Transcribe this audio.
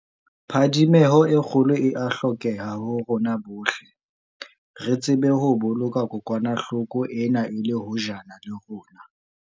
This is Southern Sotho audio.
Phadimeho e kgolo e a hlokeha ho rona bohle, re tsebe ho boloka kokwanahlo ko ena e le hojana le rona.